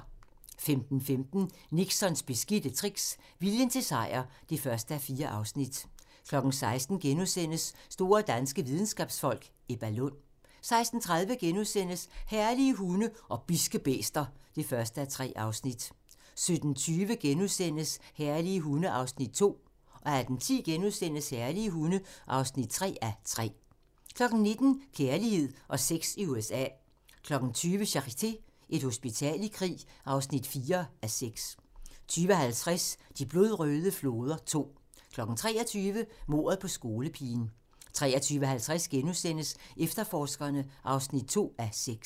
15:15: Nixons beskidte tricks – viljen til sejr (1:4) 16:00: Store danske videnskabsfolk: Ebba Lund * 16:30: Herlige hunde og bidske bæster (1:3)* 17:20: Herlige hunde (2:3)* 18:10: Herlige hunde (3:3)* 19:00: Kærlighed og sex i USA 20:00: Charité – Et hospital i krig (4:6) 20:50: De blodrøde floder II 23:00: Mordet på skolepigen 23:50: Efterforskerne (2:6)*